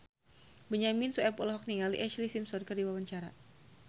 Benyamin Sueb olohok ningali Ashlee Simpson keur diwawancara